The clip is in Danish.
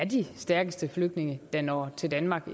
de stærkeste flygtninge der når til danmark